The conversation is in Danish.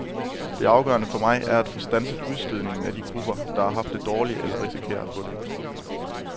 Det afgørende for mig er at få standset udstødningen af de grupper, der har haft det dårligt eller risikerer at få det.